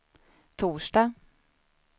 torsdag